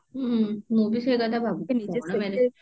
ହୁଁ ମୁଁ ବି ସେଇ କଥା ଭାବୁଛି କଣ marriage